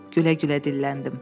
Gülə-gülə dilləndim.